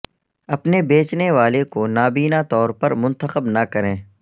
اپنے بیچنے والے کو نابینا طور پر منتخب نہ کریں